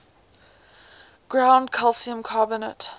ground calcium carbonate